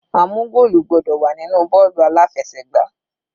A mú goolu gbọ́dọ̀ wà nínú bọ́ọ̀lù aláfẹsẹ̀gbá.